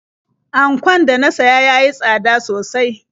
Ankon da na siya ya yi tsada sosai.